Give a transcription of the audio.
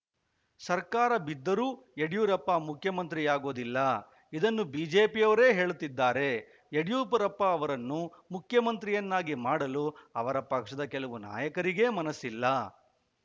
ಸರ್ಕಾರ ಬಿದ್ದರೂ ಯಡಿಯೂರಪ್ಪ ಮುಖ್ಯಮಂತ್ರಿಯಾಗುವುದಿಲ್ಲ ಇದನ್ನು ಬಿಜೆಪಿಯವರೇ ಹೇಳುತ್ತಿದ್ದಾರೆ ಯಡಿಯೂರಪ್ಪ ಅವರನ್ನು ಮುಖ್ಯಮಂತ್ರಿಯನ್ನಾಗಿ ಮಾಡಲು ಅವರ ಪಕ್ಷದ ಕೆಲವು ನಾಯಕರಿಗೆ ಮನಸ್ಸಿಲ್ಲ